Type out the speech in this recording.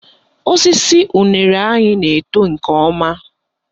Osisi unere anyị na-eto nke ọma